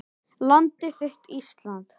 Landið þitt Ísland